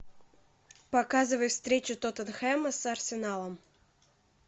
показывай встречу тоттенхэма с арсеналом